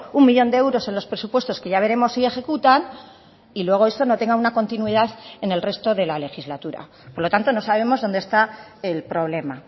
un millón de euros en los presupuestos que ya veremos si ejecutan y luego esto no tenga una continuidad en el resto de la legislatura por lo tanto no sabemos dónde está el problema